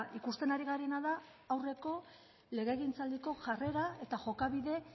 ikusten ari garena da aurreko legegintzaldiko jarrera eta jokabide